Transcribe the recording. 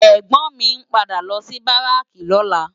Ègbòn mi n pádà lò si báráki lòlá